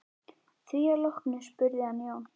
Að því loknu spurði hann Jón